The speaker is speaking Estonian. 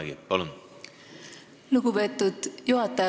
Lugupeetud juhataja!